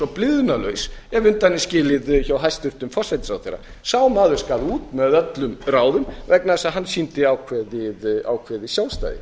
og blygðunarlaus ef undan er skilið hjá hæstvirtum forsætisráðherra sá maður skal út með öllum ráðum vegna þess að hann sýndi ákveðið sjálfstæði